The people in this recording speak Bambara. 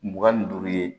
Mugan ni duuru ye